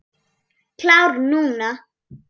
Klár núna.